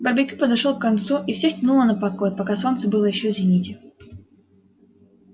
барбекю подошёл к концу и всех тянуло на покой пока солнце было ещё в зените